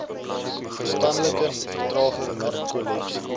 verstandelike vertraging narkolepsie